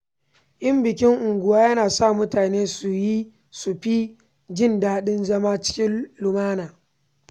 Yin bikin unguwa yana sa mutane su fi jin daɗin zama cikin lumana.